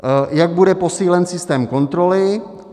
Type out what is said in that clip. Jak bude posílen systém kontroly?